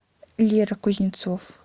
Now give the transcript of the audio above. лера кузнецов